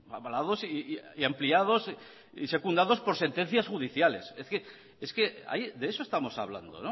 avalados y ampliados y secundados por sentencias judiciales es que de eso estamos hablando